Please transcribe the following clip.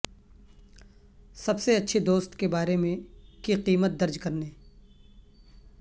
سب سے اچھے دوست کے بارے میں کی قیمت درج کرنے